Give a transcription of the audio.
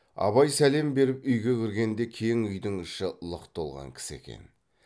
абай сәлем беріп үйге кіргенде кең үйдің іші лық толған кісі екен